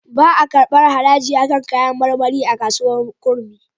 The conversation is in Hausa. Ba a karɓar haraji a kan kayar marmari a kasuwar Kurmi.